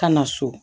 Ka na so